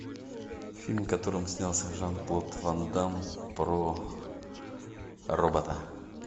фильм в котором снялся жан клод ван дамм про робота